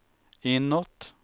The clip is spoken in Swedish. inåt